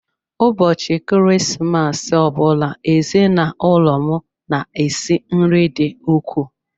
Ụbọchị Krismas ọ bụla, ezinụlọ m na-esi nri dị ukwuu.